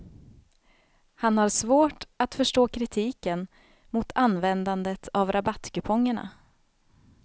Han har svårt att förstå kritiken mot användandet av rabattkupongerna.